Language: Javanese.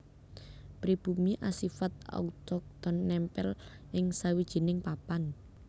Pribumi asifat autochton nèmpèl ing sawijining papan